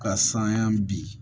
Ka san ya bi